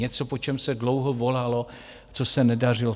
Něco, po čem se dlouho volalo, co se nedařilo.